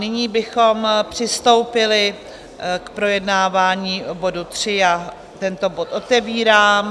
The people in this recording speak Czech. Nyní bychom přistoupili k projednávání bodu 3, já tento bod otevírám.